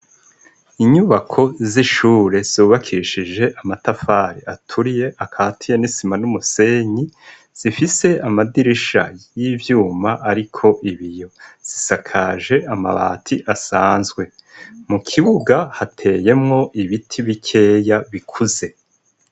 Inyubako zishure zubakishije amatafari aturiye akatiye isima n'umusenyi, zifise amadirisha y'ivyuma ariko ibiyo, risakajwe amabati asanzwe, mukibuga hateyemwo ibiti bikeya bikuze.